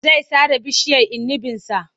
Zai sare bishiyar inibinsa.